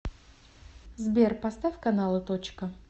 сбер поставь каналы точка